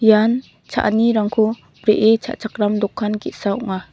ian cha·anirangko bree cha·chakram dokan ge·sa ong·a.